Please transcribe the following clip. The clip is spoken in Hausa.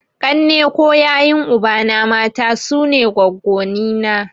Ƙanne ko yayun ubana (mata) sune goggonni na.